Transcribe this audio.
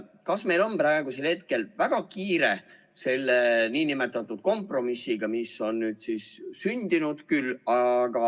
Kas meil on ikka praegu väga kiire selle nn kompromissiga, mis on nüüd siis sündinud?